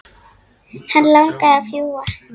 Hann langaði að fljúga.